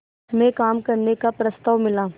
में काम करने का प्रस्ताव मिला